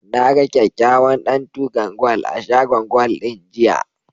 Na ga kyakkyawan ɗantukan gwal a shagon gwal ɗin, jiya.